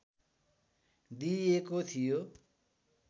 दिइएको थियो